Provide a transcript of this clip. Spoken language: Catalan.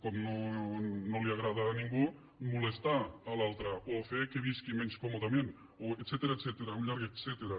com no li agrada a ningú molestar l’altre o fer que visqui menys còmodament o etcètera un llarg etcètera